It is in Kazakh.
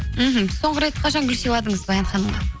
мхм соңғы рет қашан гүл сыйладыңыз баян ханымға